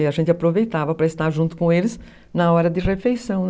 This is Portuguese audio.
E a gente aproveitava para estar junto com eles na hora de refeição